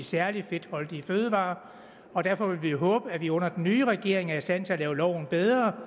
særlig fedtholdige fødevarer og derfor vil vi håbe at vi under den nye regering er i stand til at lave loven bedre